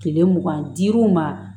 Kile mugan ni duuru ma